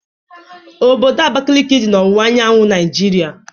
Obodo Abakiliki dị n'owuwa anyanwụ Naịjiria